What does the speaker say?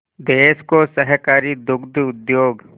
देश को सहकारी दुग्ध उद्योग